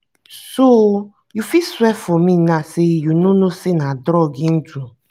so you fit swear for me now say you no know na drug he do?